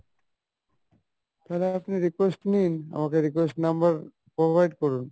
তালে আপনি request নিন আমাকে request number provide করুন।